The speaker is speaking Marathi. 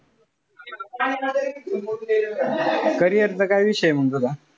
Carrier चा काय विषय मंग तुझा?